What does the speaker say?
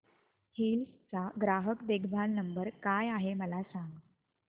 hills चा ग्राहक देखभाल नंबर काय आहे मला सांग